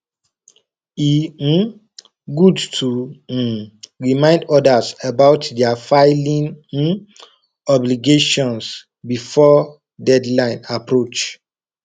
e um good to um remind others about their filing um obligations before deadline approach